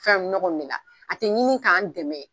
Fɛn min ne kɔni bɛ na a tɛ ɲini k'an dɛmɛ.